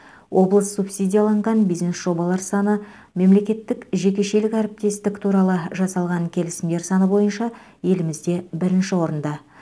облыс субсидияланған бизнес жобалар саны мемлекеттік жекешелік әріптестік туралы жасалған келісімдер саны бойынша елімізде бірінші орында